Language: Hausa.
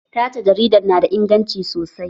Tace jaridar na da inganci sosai